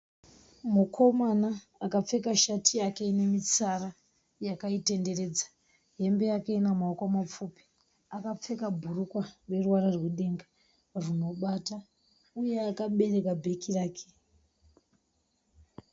Mukomana akapfeka shati yake inemitsara yakaitenderedza. Hembe yake inemaoko mapfupi. Akapfeka bhurukwa rineruvara rwedenga runobata uye akabereka bheke rake.